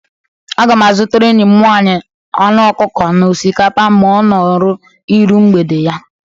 Aga m azutara enyi m nwaanyi anu ọkukọ na ọsikapa ma ọnoru iru mgbede ya.